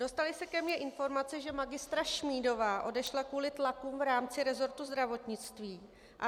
Dostaly se ke mně informace, že magistra Šmídová odešla kvůli tlakům v rámci resortu zdravotnictví.